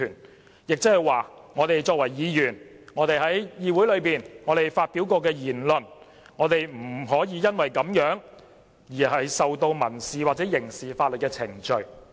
換言之，作為議員，不能因我們在議會內發表的言論而對我們提起民事或刑事法律程序。